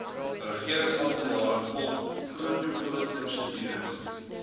regeringsamptenare volg protokolprosedures